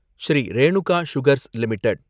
Sri Renuka sugars limited